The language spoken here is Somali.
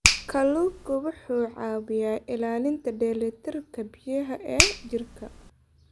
Kalluunku wuxuu caawiyaa ilaalinta dheelitirka biyaha ee jirka.